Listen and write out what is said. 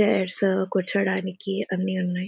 Chairs కూర్చోడానికి అన్ని ఉన్నాయి.